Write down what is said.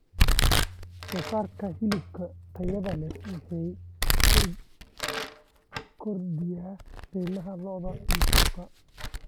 Soosaarka hilibka tayada leh wuxuu kordhiyaa qiimaha lo'da ee suuqa.